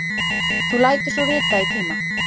Þú lætur svo vita í tíma.